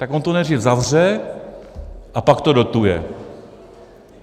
Tak on to nejdřív zavře, a pak to dotuje.